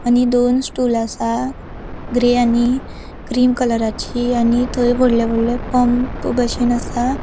आणि दोन स्टूल असा ग्रे आणि क्रीम कलराची आणि थय वोडले वोडले पम्प बशीन असा.